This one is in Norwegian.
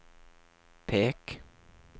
pek